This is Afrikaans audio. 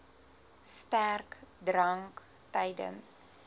sterk drank tydens